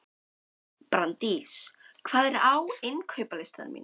Brandís, hvað er á innkaupalistanum mínum?